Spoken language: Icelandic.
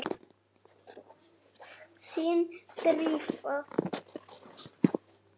Þín, Drífa.